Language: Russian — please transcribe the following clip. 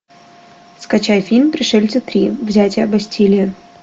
скачай фильм пришельцы три взятие бастилии